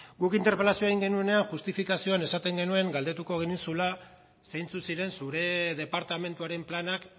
guk interpelazioa egin genuenean justifikazioan esaten genuen galdetuko genizula zeintzuk ziren zure departamentuaren planak